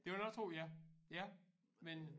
Det vil jeg da også tro ja ja men